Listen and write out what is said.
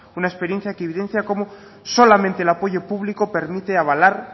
una experiencia que evidencia como solamente el apoyo público permite avalar